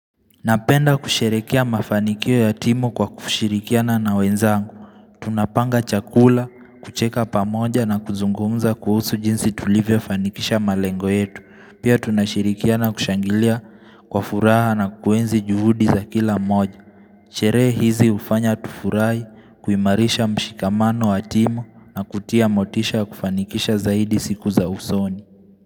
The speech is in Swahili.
Napenda kusherehekea mafanikio ya timu kwa kushirikiana na wenzangu. Tunapanga chakula, kucheka pamoja na kuzungumza kuhusu jinsi tulivyofanikisha malengo yetu. Pia tunashirikiana kushangilia kwa furaha na kuenzi juhudi za kila mmoja. Sherehe hizi hufanya tufurahi, kuimarisha mshikamano ya timu na kutia motisha ya kufanikisha zaidi siku za usoni.